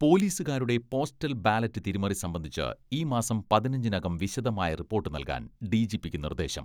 പോലീസുകാരുടെ postal ballot തിരിമറി സംബന്ധിച്ച് ഈ മാസം പതിനഞ്ചിനകം വിശദമായ റിപ്പോട്ട് നൽകാൻ ഡിജിപിക്ക് നിർദ്ദേശം